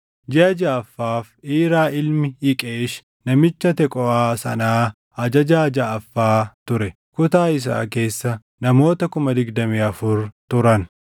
Jiʼa jaʼaffaaf Iiraa ilmi Iqeesh namicha Teqooʼaa sanaa ajajaa jaʼaffaa ture. Kutaa isaa keessa namoota 24,000 turan.